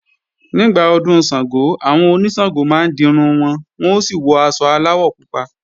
Nígbà Ọdún Ṣàngó, àwọn oníṣàngó máa ń dirun wọn, wọ́n ó sì wọ aṣọ aláwọ̀ pupa